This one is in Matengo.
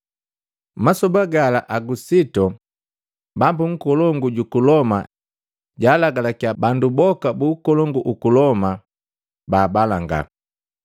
Masoba gala Agusitu, Bambu nkolongu, juku Loma jalagalakya bandu boka buku ukolongu guku Loma baabalanga.